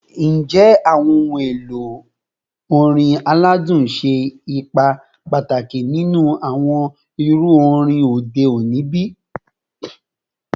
Njẹ awọn ohun elo orin aladun ṣe ipa pataki ninu awọn iru orin ode oni bi?